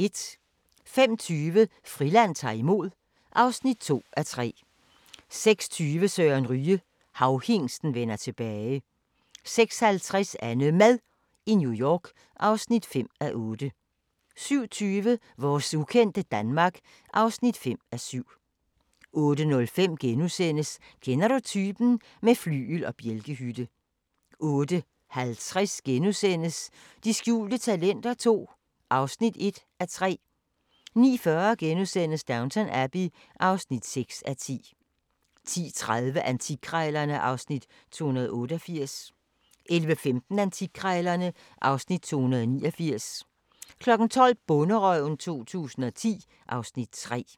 05:20: Friland ta'r imod (2:3) 06:20: Søren Ryge - Havhingsten vender tilbage 06:50: AnneMad i New York (5:8) 07:20: Vores ukendte Danmark (5:7) 08:05: Kender du typen? - med flygel og bjælkehytte * 08:50: De skjulte talenter II (1:3)* 09:40: Downton Abbey (6:10)* 10:30: Antikkrejlerne (Afs. 288) 11:15: Antikkrejlerne (Afs. 289) 12:00: Bonderøven 2010 (Afs. 3)